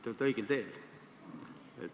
Te olete õigel teel.